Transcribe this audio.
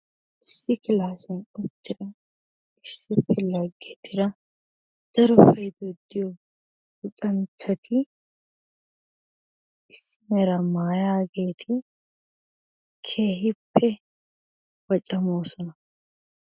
Issi kilaassiyan uttida issippe laggetida daro oyidee diyo Luxanchchati issi meraa maayaageeti keehippe wocamoosona.